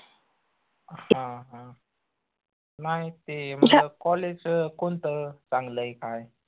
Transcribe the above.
हां हां नाई ते college कोनतं चांगलंय काय?